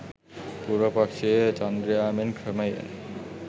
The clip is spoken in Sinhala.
පුර පක්‍ෂයේ චන්ද්‍රයා මෙන් ක්‍රමයෙන්